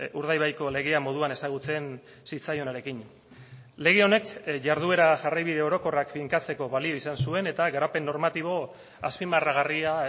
urdaibaiko legea moduan ezagutzen zitzaionarekin lege honek jarduera jarraibide orokorrak finkatzeko balio izan zuen eta garapen normatibo azpimarragarria